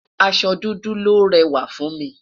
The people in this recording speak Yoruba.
aṣọ dúdú lòó réwà fún mi